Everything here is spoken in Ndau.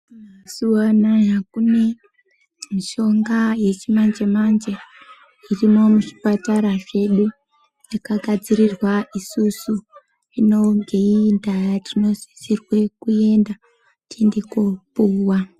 Mazuwanaya kune mishonga yechimanje manje irimo muchipatara zvedu yakagadzirirwa isusu ngeiyi ndaa tinosisirwe kuenda tiende kopuwa.